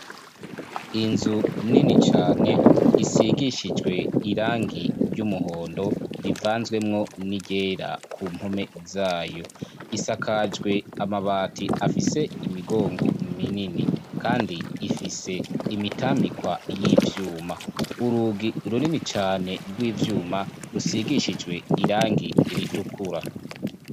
Inzu nini cane isigishijwe irangi ry'umuhondo rivanzwemwo n'iryera, ku mpome zayo. Isakajwe amabati afise imigongo minini; kandi ifise imitambikwa y'ivyuma. Urugi runini cane rw'ivyuma rusigishijwe irangi ritukura.